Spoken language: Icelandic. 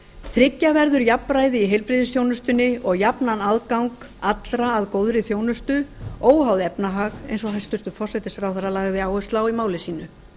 tryggja verður jafnræði í heilbrigðisþjónustunni og jafnan aðgang allra að góðri þjónustu óháð efnahag eins og hæstvirtur forsætisráðherra lagði áherslu á í máli sínu